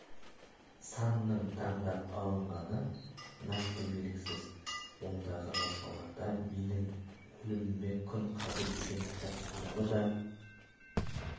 санның таңдап алынғаны нақты белгісіз ондағы жазбаларда менің өліміме күн қалды деген кітап туралы да